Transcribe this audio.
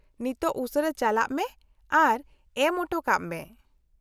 -ᱱᱤᱛᱚᱜ ᱩᱥᱟᱹᱨᱟ ᱪᱟᱞᱟᱜ ᱢᱮ ᱟᱨ ᱮᱢ ᱚᱴᱚ ᱠᱟᱜᱼᱢᱮ ᱾